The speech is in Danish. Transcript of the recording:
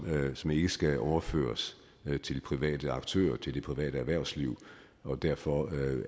som ikke skal overføres til private aktører til det private erhvervsliv og derfor